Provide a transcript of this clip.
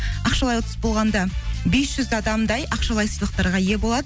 ақшалай ұтыс болғанда бес жүз адамдай ақшалай сыйлықтарға ие болады